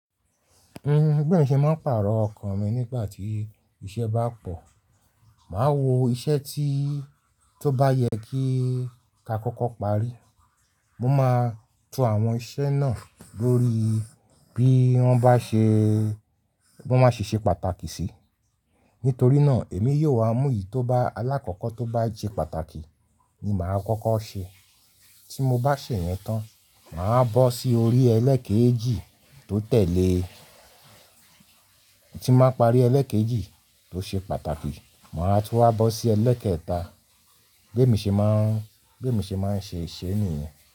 N gbẹ́mì ṣe máa ń pàrọ̀ ọkàn mi nígbà tí iṣẹ́ bá pò. Máa wo iṣẹ́ tí tó bá yẹ kí ka kọ́kọ́ parí. Mo máa tú àwọn iṣẹ́ náà lórí bí wọ́n bá ṣe, bí wọ́n ṣe ṣe pàtàkì sí. Nítorí náà èmi yóò wá mú èyí tó bá alákọ̀kọ́ tó bá jẹ́ pàtàkì ni màá kọ́kọ́ ṣe. Tí mo bá ṣe yẹn tán, màá bó sí orí ẹlẹ́ẹ̀kejì tó tẹ̀lé. Tí máa parí ẹlẹ́ẹ̀kejì tó ṣe pàtàkì, màá tún wá bó sí ẹlẹ́ẹ̀kẹta. Gbẹ́mì ṣe má ń, gbẹ́mì ṣe máa ń ṣe iṣẹ́ nìyẹn.